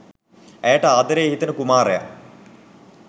ඇයට ආදරේ හිතෙන කුමාරයා